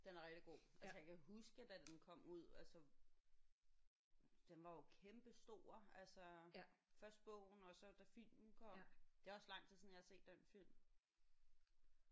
Den er rigtig god. Altså jeg kan huske da den kom ud altså den var jo kæmpe stor altså. Først bogen og så da filmen kom. Det er også lang tid siden jeg har set den film